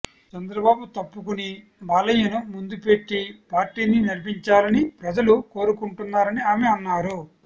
చంద్రబాబు తప్పుకుని బాలయ్యను ముందు పెట్టి పార్టీని నడిపించాలని ప్రజలు కోరుకుంటున్నారని ఆమె అన్నారు